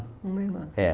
Uma irmã. É.